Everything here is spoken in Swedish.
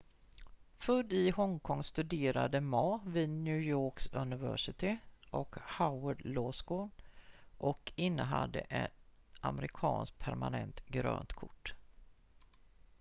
"född i hongkong studerade ma vid new york university och harvard law school och innehade en amerikanskt permanent "grönt kort"".